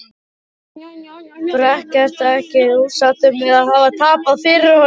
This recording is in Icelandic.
Breki: Ertu ekkert ósáttur með að hafa tapað fyrir honum?